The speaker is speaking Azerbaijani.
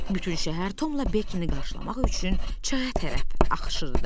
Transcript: Bütün şəhər Tomla Bekini qarşılamaq üçün çaya tərəf axışırdı.